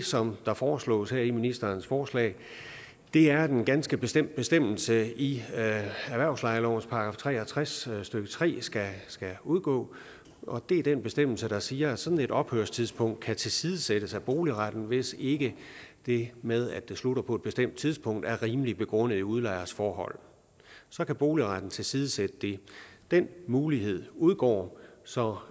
som der foreslås her i ministerens forslag er at en ganske bestemt bestemmelse i erhvervslejeloven § tre og tres stykke tre skal udgå det er den bestemmelse der siger at sådan et ophørstidspunkt kan tilsidesættes af boligretten hvis ikke det med at det slutter på et bestemt tidspunkt er rimelig begrundet i udlejers forhold så kan boligretten tilsidesætte det den mulighed udgår så